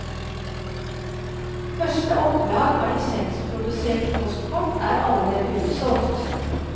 Første opplag av lisensproduserte postkort er allerede utsolgt.